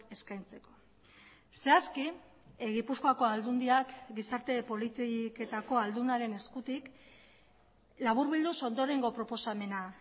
eskaintzeko zehazki gipuzkoako aldundiak gizarte politiketako aldunaren eskutik laburbilduz ondorengo proposamena